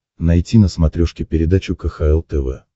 найти на смотрешке передачу кхл тв